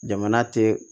Jamana tɛ